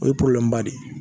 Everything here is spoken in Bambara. O ye de ye